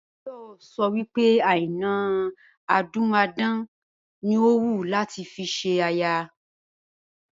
Báyò̩ so̩ wí pé Àìná adúmáadán ni ó wù ú láti fi s̩e aya